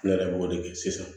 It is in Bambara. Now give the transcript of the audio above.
Ne yɛrɛ b'o de kɛ sisan